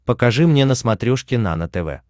покажи мне на смотрешке нано тв